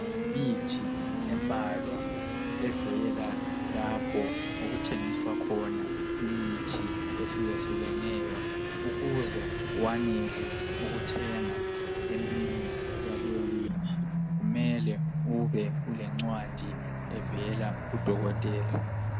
Imithi embalwa evela lapho okuthengiswa khona imithi ehlukahlukeneyo ukuze kwanele ukuthenga eminye yaleyo mithi kumele ube ulencwadi evela ku dokotela.